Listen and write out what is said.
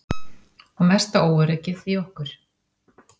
Og mesta óöryggið í okkur.